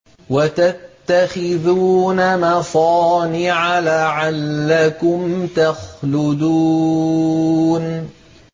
وَتَتَّخِذُونَ مَصَانِعَ لَعَلَّكُمْ تَخْلُدُونَ